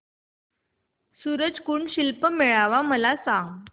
सूरज कुंड शिल्प मेळावा मला सांग